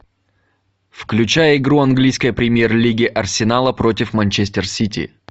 включай игру английской премьер лиги арсенала против манчестер сити